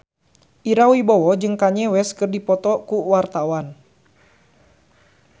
Ira Wibowo jeung Kanye West keur dipoto ku wartawan